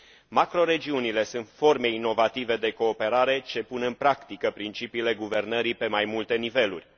Macroregiunile sunt forme inovative de cooperare ce pun în practică principiile guvernării pe mai multe niveluri.